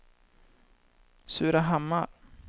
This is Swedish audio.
Surahammar